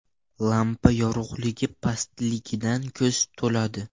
Lampa yorug‘ligi pastligidan ko‘z toladi.